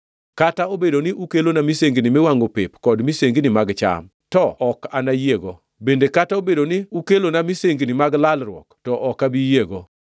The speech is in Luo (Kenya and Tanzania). Kata obedo ni ukelona misengini miwangʼo pep kod misengini mag cham, to ok anayiego; bende kata obedo ni ukelona misengini mag lalruok to ok abi yiego.